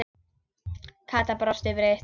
Kata brosti breitt.